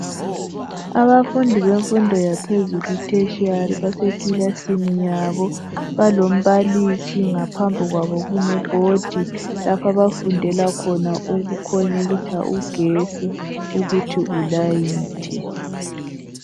Abafundi bemfundo yaphezulu eTheshiyali base klilasini yabo balombalisi phambi kwabo kulebhodi lapho abafundela khona ukukhonekitha igetsi ukuthi balayithe.